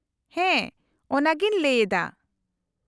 -ᱦᱮᱸ ᱚᱱᱟᱜᱮᱧ ᱞᱟᱹᱭᱮᱫᱟ ᱾